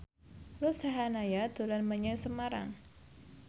Ruth Sahanaya dolan menyang Semarang